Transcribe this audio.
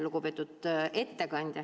Lugupeetud ettekandja!